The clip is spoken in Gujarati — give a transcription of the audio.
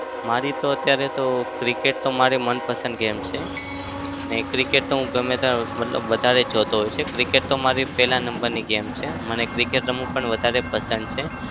મારી તો અત્યારે તો cricket તો મારી મનપસંદ game છે. ને cricket તો હું ગમે ત્યા મતલબ વધારે જોતો હોવ છું. cricket તો મારી પહેલા number ની game છે. મને cricket રમવું પણ વધારે પસંદ છે.